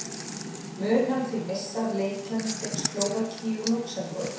Mun hann því missa af leikjunum gegn Slóvakíu og Lúxemborg.